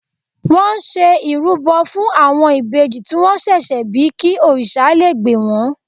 Wọ́n ṣe ìrúbọ fún àwọn ìbejì tí wọ́n ṣẹ̀ṣẹ̀ bí kí òrìṣà lé gbè wọ́n.